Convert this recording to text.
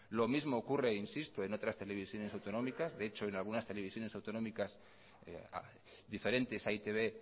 lo mismo ocurre e insisto en otras televisiones autonómicas de hecho en algunas televisiones autonómicas diferentes a e i te be